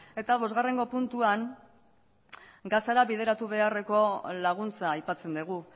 eta bosgarrengo puntuan gazara bideratu beharreko laguntza aipatzen dugu